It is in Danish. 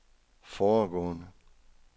foregående